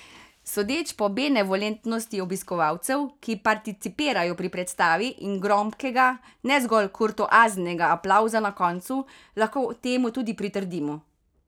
Sodeč po benevolentnosti obiskovalcev, ki participirajo pri predstavi, in gromkega, ne zgolj kurtoaznega aplavza na koncu, lahko temu tudi pritrdimo.